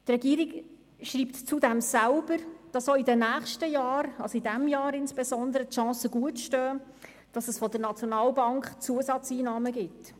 Die Regierung schreibt zudem selbst, dass auch in den nächsten Jahren, insbesondere auch in diesem Jahr, die Chancen gut stehen, dass es erneut Zusatzeinnahmen von der SNB gibt.